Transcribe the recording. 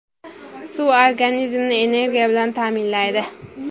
Suv Suv organizmni energiya bilan ta’minlaydi.